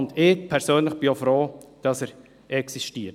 Ich persönlich bin ich auch froh, dass er existiert.